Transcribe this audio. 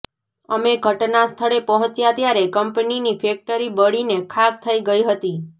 અમે ઘટનાસ્થળે પહોંચ્યા ત્યારે કંપનીની ફૅક્ટરી બળીને ખાખ થઈ ગઈ હતી